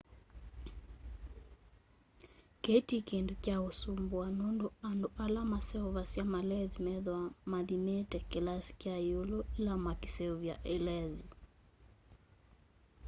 kii ti kindu kya usumbua nundu andu ala maseuvasya malenzi methwaa mathimite kilasi kya iulu ila mekuseuvya i lenzi